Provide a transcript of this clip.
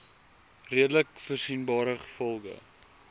redelik voorsienbare gevolge